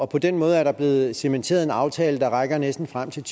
på den måde er der blevet cementeret en aftale der rækker næsten frem til